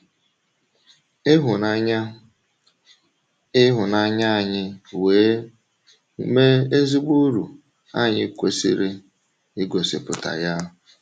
Ka ịhụnanya ịhụnanya anyị wee mee ezigbo uru, anyị kwesịrị igosipụta ya.